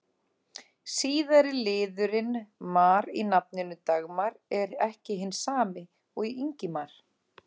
Síðari liðurinn-mar í nafninu Dagmar er ekki hinn sami og í Ingimar.